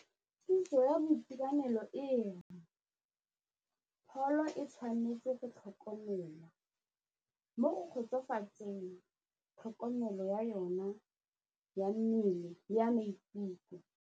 Kitso ya boitekanelo ere pholo e tshwanetse go tlhokomelwa mo go kgotsofatseng tlhokomelo ya yona ya mmele le ya maikutlo.